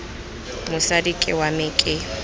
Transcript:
mosadi ke wa me ke